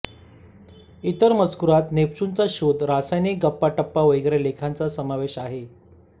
इतर मजकुरांत नेपच्यूनचा शोध रासायनिक गप्पाटप्पा वगैरे लेखांचा समावेश आहे